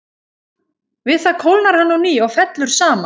Við það kólnar hann á ný og fellur saman.